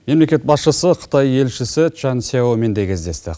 мемлекет басшысы қытай елшісі чан сьяомен де кездесті